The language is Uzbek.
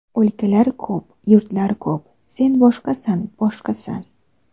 O‘lkalar ko‘p, yurtlar ko‘p, Sen boshqasan, boshqasan.